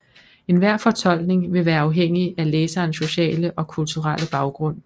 Enhver fortolkning vil være afhængig af læserens sociale og kulturelle baggrund